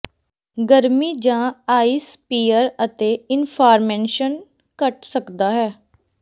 ਗਰਮੀ ਜਾਂ ਆਈਸ ਪੀਅਰ ਅਤੇ ਇਨਫਾਰਮੈਂਸ਼ਨ ਘੱਟ ਸਕਦਾ ਹੈ